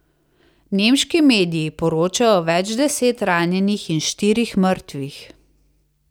Nemški mediji poročajo o več deset ranjenih in štirih mrtvih.